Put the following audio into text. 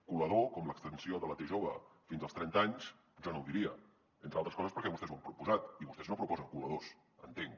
colador com l’extensió de la t jove fins als trenta anys jo no ho diria entre altres coses perquè vostès ho han proposat i vostès no proposen coladors entenc